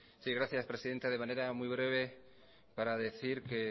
sí gracias presidenta de manera muy breve para decir que